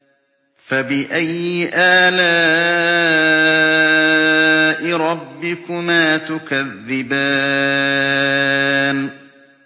فَبِأَيِّ آلَاءِ رَبِّكُمَا تُكَذِّبَانِ